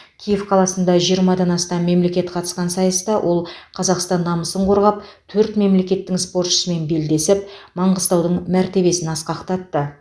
киев қаласында жиырмадан астам мемлекет қатысқан сайыста ол қазақстан намысын қорғап төрт мемлекеттің спортшысымен белдесіп маңғыстаудың мәртебесін асқақтатты